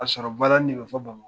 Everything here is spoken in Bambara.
sɔrɔ balani de bɛ fɔ bama